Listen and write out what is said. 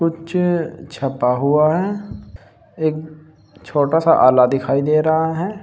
कुछ छपा हुआ है। एक छोटा सा आला दिखाई दे रहा है।